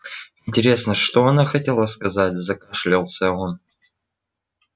интересно что она хотела сказать закашлялся он